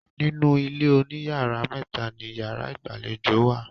Nínu ilé oníyàrá méta ni yàrá ìgbàlejò wà.